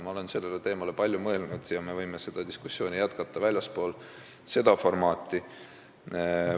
Ma olen sellele teemale palju mõelnud ja me võime seda diskussiooni jätkata väljaspool seda formaati.